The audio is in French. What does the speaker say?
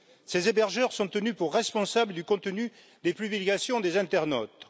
Ces hébergeurs sont tenus pour responsables du contenu des publications des internautes.